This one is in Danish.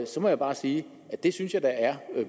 så må jeg bare sige at det synes jeg da er